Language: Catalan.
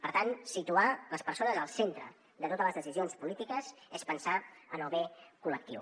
per tant situar les persones al centre de totes les decisions polítiques és pensar en el bé col·lectiu